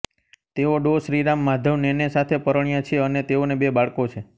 તેઓ ડો શ્રીરામ માધવ નેને સાથે પરણ્યા છે અને તેઓને બે બાળકો છે